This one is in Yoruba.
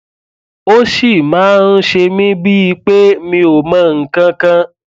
ó ṣì máa ń ṣe mí bíi pé mi ò mọ nǹkan kan